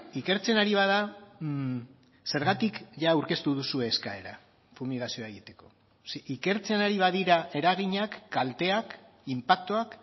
ikertzen ari bada zergatik jada aurkeztu duzue eskaera fumigazioa egiteko ikertzen ari badira eraginak kalteak inpaktuak